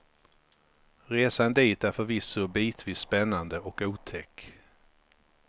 Resan dit är förvisso bitvis spännande och otäck.